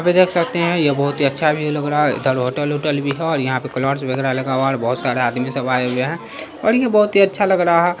अभी देख सकते है यह बहुत ही अच्छा व्यू लग रहा है इधर होटल वोटल भी है और यहां पर वगेरा लगा हुआ है और बहुत सारे आदमी सब आए हुए है और ये बहुत ही अच्छा लग रहा।